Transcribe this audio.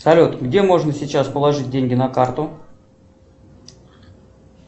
салют где можно сейчас положить деньги на карту